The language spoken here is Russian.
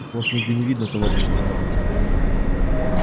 вас нигде не видно товарищ лейтенант